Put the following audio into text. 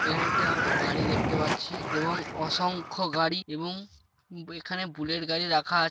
এখানে একটি আমরা বাড়ি দেখতে পাচ্ছি এবং অসংখ্য গাড়ি এবং এখানে বুলেট গাড়ি রাখা আ --